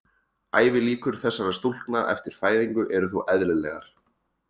Ævilíkur þessara stúlkna eftir fæðingu eru þó eðlilegar.